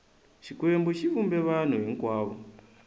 xikwembu xi vumbe vanhu hinkwavo